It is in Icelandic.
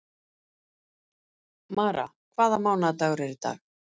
Mara, hvaða mánaðardagur er í dag?